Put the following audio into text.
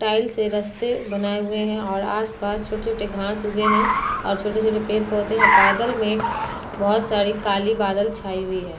Tile से रस्ते बनाए हुए हैं और आस पास छोटे-छोटे घास उगे है और छोटे-छोटे पेड़ पौधे हैं। बादल में बहोत सारी काली बादल छाई हुई है।